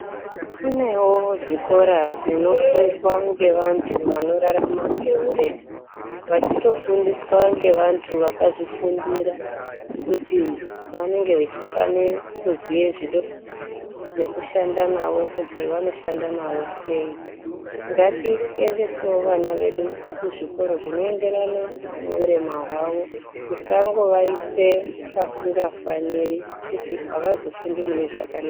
Kunewo zvikora zvinofundwa ngevantu vanorarama ngeurema vachitofundiswa ngevantu akazvifundira kuti vanenge vachifanira kuziye zvido nekushanda nawo kuti vanoshanda navo sei. Ngatiendeswo vana vedu kuzvikoro zvinoenderana neurema hwavo, tisangovaise pasingafaniri kuti avazofundi zvakanaka.